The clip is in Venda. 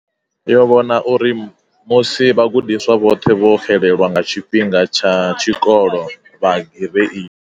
Yo vhona uri musi vhagudiswa vhoṱhe vho xelelwa nga tshifhinga tsha tshikolo, vha gireidi.